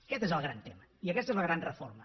aquest és el gran tema i aquesta és la gran reforma